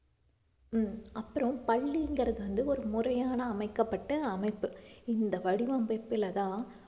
ஹம் அப்புறம் பள்ளிங்கிறது வந்து ஒரு முறையான அமைக்கப்பட்டு அமைப்பு இந்த வடிவமைப்புலதான்